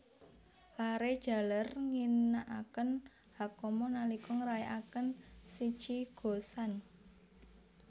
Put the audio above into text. Laré jaler ngginakaken Hakama nalika ngrayakaken Shichi Go San